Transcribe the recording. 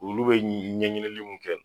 Olu bɛ ɲɛɲinili minnu kɛ